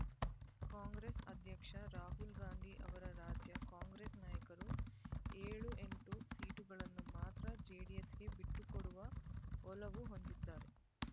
ಕಾಂಗ್ರೆಸ್ ಅಧ್ಯಕ್ಷ ರಾಹುಲ್‌ಗಾಂಧಿ ಅವರ ರಾಜ್ಯ ಕಾಂಗ್ರೆಸ್ ನಾಯಕರು ಏಳು ಎಂಟು ಸೀಟುಗಳನ್ನು ಮಾತ್ರ ಜೆಡಿಎಸ್‌ಗೆ ಬಿಟ್ಟು ಕೊಡುವ ಒಲವು ಹೊಂದಿದ್ದಾರೆ